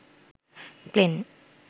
plane